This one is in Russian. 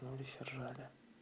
ну они все рожали